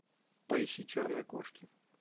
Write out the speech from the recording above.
поищи черные кошки